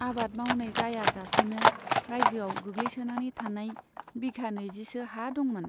आबाद मावनाय जाया जासेनो राइजोआव गोग्लैसोनानै थानाय बिघा नैजिसो हा दंमोन।